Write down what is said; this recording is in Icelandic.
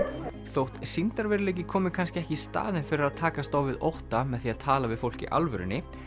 þótt sýndarveruleiki komi kannski ekki í staðinn fyrir að takast á við ótta með því að tala við fólk í alvörunni